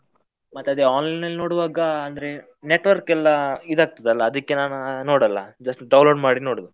ಮತ್ತೆ ಅದೇ online ಅಲ್ಲಿ ನೋಡುವಾಗ ಅಂದ್ರೆ network ಎಲ್ಲ ಇದು ಆಗ್ತದೆ ಅಲ್ಲ ಅದಿಕ್ಕೆ ನಾನ್ ನೋಡಲ್ಲ, just download ಮಾಡಿ ನೋಡೋದು.